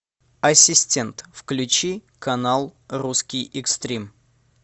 ассистент включи канал русский экстрим